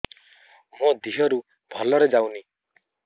ମୋ ଦିହରୁ ଭଲରେ ଯାଉନି